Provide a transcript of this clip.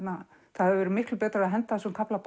það hefði verið miklu betra að henda þessum kafla